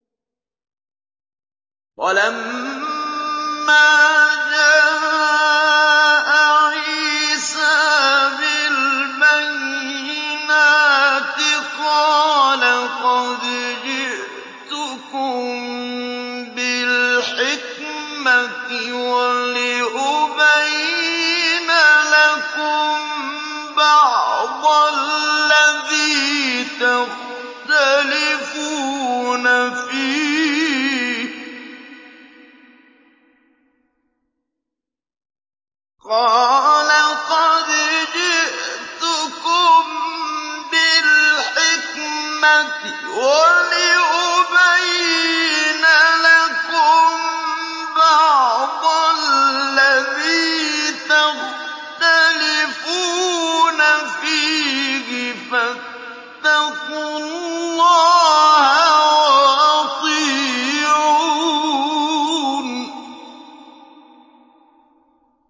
وَلَمَّا جَاءَ عِيسَىٰ بِالْبَيِّنَاتِ قَالَ قَدْ جِئْتُكُم بِالْحِكْمَةِ وَلِأُبَيِّنَ لَكُم بَعْضَ الَّذِي تَخْتَلِفُونَ فِيهِ ۖ فَاتَّقُوا اللَّهَ وَأَطِيعُونِ